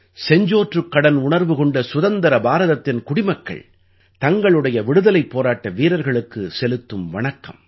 செஞ்சோற்றுக்கடன் உணர்வு கொண்ட சுதந்திர பாரதத்தின் குடிமக்கள் தங்களுடைய விடுதலைப் போராட்ட வீரர்களுக்கு செலுத்தும் வணக்கம்